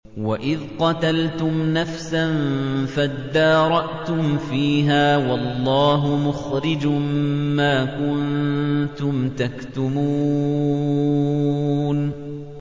وَإِذْ قَتَلْتُمْ نَفْسًا فَادَّارَأْتُمْ فِيهَا ۖ وَاللَّهُ مُخْرِجٌ مَّا كُنتُمْ تَكْتُمُونَ